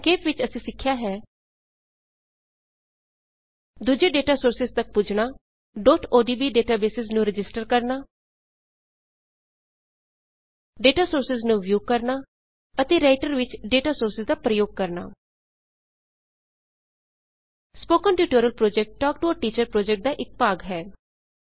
ਸੰਖੇਪ ਵਿੱਚ ਅਸੀਂ ਸਿੱਖਿਆ ਹੈ160 ਦੂਜੇ ਡੇਟਾ ਸੋਰਸਿਜ਼ ਤੱਕ ਪੁੱਜਣਾ odb ਡੇਟਬੇਸਿਜ਼ ਨੂੰ ਰਜਿਸਟਰ ਕਰਣਾ ਡੇਟਾ ਸੋਰਸਿਜ਼ ਨੂੰ ਵਿਊ ਕਰਣਾ ਅਤੇ ਰਾਈਟਰ ਵਿੱਚ ਡੇਟਾ ਸੋਰਸਿਜ਼ ਦਾ ਪ੍ਰਯੋਗ ਕਰਣਾ spoken tutorial project talk to the teacher project ਦਾ ਇੱਕ ਭਾਗ ਹੈ